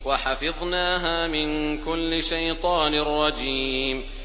وَحَفِظْنَاهَا مِن كُلِّ شَيْطَانٍ رَّجِيمٍ